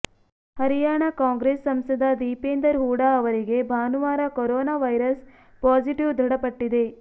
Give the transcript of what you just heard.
ಹರಿಯಾಣ ಕಾಂಗ್ರೆಸ್ ಸಂಸದ ದೀಪೆಂದರ್ ಹೂಡಾ ಅವರಿಗೆ ಭಾನುವಾರ ಕೊರೋನಾ ವೈರಸ್ ಪಾಸಿಟಿವ್ ದೃಢಪಟ್ಟಿದೆ